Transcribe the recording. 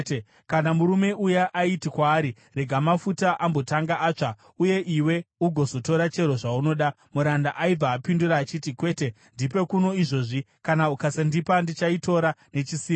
Kana murume uya aiti kwaari, “Rega mafuta ambotanga atsva uye iwe ugozotora chero zvaunoda,” muranda aibva apindura achiti, “Kwete, ndipe kuno izvozvi; kana ukasandipa ndichaitora nechisimba.”